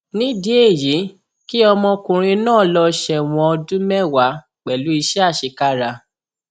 nídìí èyí kí ọmọkùnrin náà lọọ sẹwọn ọdún mẹwàá pẹlú iṣẹ àṣekára